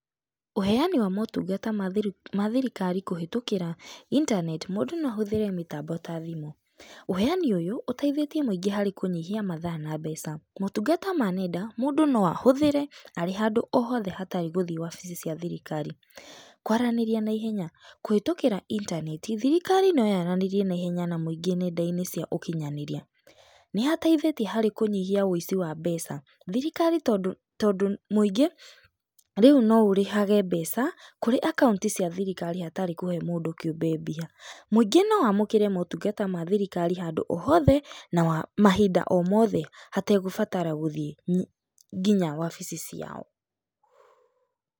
Ũheani wa motungata ma thiri ma thirikari kũhĩtũkĩra internet mũndũ no ahũthĩre mĩtambo ta thimũ. Ũheani ũyũ ũteithĩtie mũingĩ harĩ kũnyihia mathaa na mbeca. Motungata ma nenda, mũndũ no ahũthĩre arĩ handũ o hothe hatarĩ gũthiĩ wabici cia thirikari. Kwaranĩria naihenya, kũhĩtũkĩra intaneti thirikari no yaranĩrie naihenya na mũingĩ nenda-inĩ cia ũkinyanĩria. Nĩhateithĩtie harĩ kũnyihia wĩici wa mbeca. Thirikari tondũ tondũ mũingĩ rĩu no ũrĩhage mbeca kũrĩ akaunti cia thirikari hatarĩ kũhe mũndũ kĩũmbe mbia. Mũingĩ no wamũkĩre motungata ma thirikari handũ o hothe na mahinda o mothe hategũbatara gũthiĩ nginya wabici ciao.